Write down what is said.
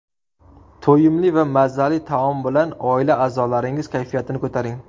To‘yimli va mazali taom bilan oila a’zolaringiz kayfiyatini ko‘taring.